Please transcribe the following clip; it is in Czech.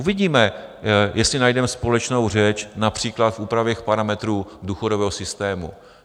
Uvidíme, jestli najdeme společnou řeč například v úpravě parametrů důchodového systému.